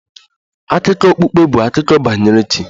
Akụkọ okpukpe bụ akụkọ banyere chi